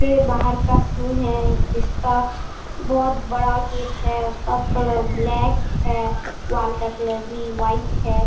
ये बाहर का सीन है जिस का बहुत बड़ा गेट है | उसका कलर ब्लैक है | वाल का कलर भी वाइट है |